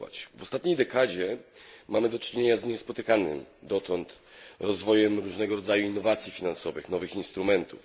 W ostatniej dekadzie mamy do czynienia z niespotykanym dotąd rozwojem różnego rodzaju innowacji finansowych, nowych instrumentów.